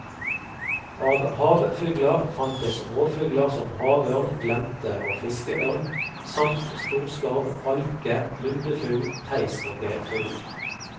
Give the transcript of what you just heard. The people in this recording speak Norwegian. Av havfugler fantes rovfugler som havørn, glente og fiskeørn, samt storskarv, alke, lundefugl, teist og geirfugl.